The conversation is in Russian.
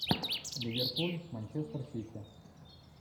ливерпуль манчестер сити